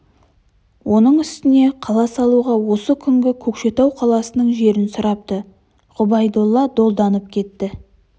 оның үстіне қала салуға осы күнгі көкшетау қаласының жерін сұрапты ғұбайдолла долданып кетті